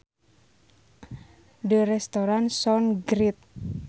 The restaurant sounds great